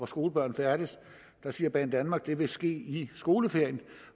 skolebørn færdes der siger banedanmark at det vil ske i skoleferien